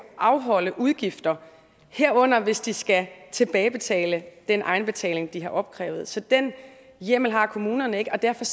afholde udgifter herunder hvis de skal tilbagebetale den egenbetaling de har opkrævet så den hjemmel har kommunerne ikke og derfor